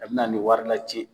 A bɛna ni wari lacɛ